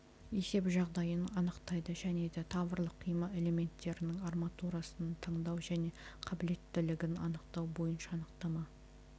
есеп жағдайын анықтайды және де таврлық қима элементтерінің арматурасын таңдау және қабілеттілігін анықтау бойынша анықтама